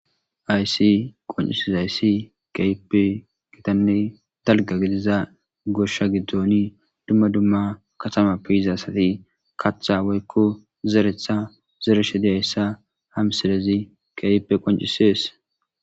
Haysi qoncises ayssi kaype kgitanne dalga gidiza goshsha giddoni dumma dumma katamappe yizaasati kaththa waykko zeretha zere shedeyayssa ham silezi kaype qoncisees